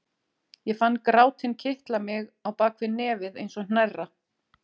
Ég fann grátinn kitla mig á bak við nefið eins og hnerra.